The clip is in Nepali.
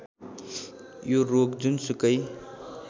यो रोग जुनसुकै